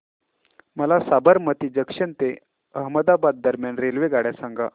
मला साबरमती जंक्शन ते अहमदाबाद दरम्यान रेल्वेगाड्या सांगा